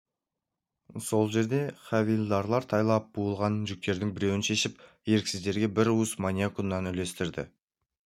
сол жерде хавильдарлар тайлап буылған жүктердің біреуін шешіп еріксіздерге бір уыстан маниок ұнын үлестірді